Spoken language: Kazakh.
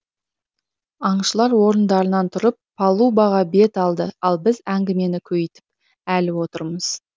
аңшылар орындарынан тұрып палубаға бет алды ал біз әңгімені көйітіп әлі отырмыз